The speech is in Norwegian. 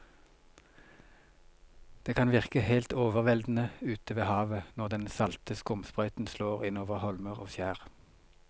Det kan virke helt overveldende ute ved havet når den salte skumsprøyten slår innover holmer og skjær.